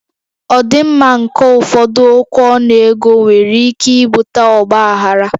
Ọdịmma nke ụfọdụ okwu ọnụ ego nwere ike ibute ọgba aghara